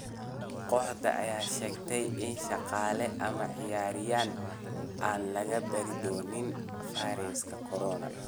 Kooxda ayaa sheegtay in shaqaale ama ciyaaryahan aan laga baari doonin fayraska corona.